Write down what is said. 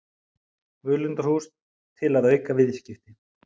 Völundarhús til að auka viðskipti